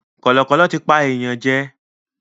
Kọ̀lọ̀kọ̀lọ̀ tí pa èèyàn jẹ.